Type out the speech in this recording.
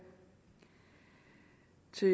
til